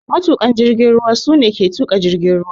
Matuƙan jirgin ruwa su ne ke tuka jirgin ruwa.